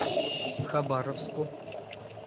хабаровску